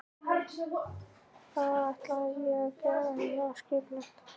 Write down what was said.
Það ætlaði ég að gera og það var skipulagt.